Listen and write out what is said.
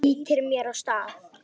Ýtir mér af stað.